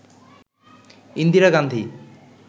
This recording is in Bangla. ইন্দিরা গান্ধী